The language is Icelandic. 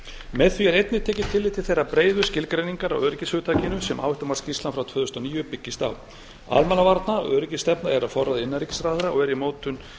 með því er einnig tekið tillit til þeirrar breiðu skilgreiningar á öryggishugtakinu sem áhættumat íslands frá tvö þúsund og níu byggist á almannavarna og öryggisstefna er á forræði innanríkisráðherra og er